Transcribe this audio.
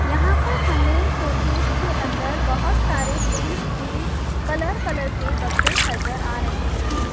यहां पर हमें शोकेस के अंदर बहुत सारे पेंस के कलर कलर के डब्बे नजर आ रहे हैं।